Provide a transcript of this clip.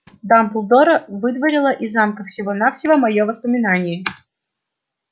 дамблдора выдворило из замка всего-навсего моё воспоминание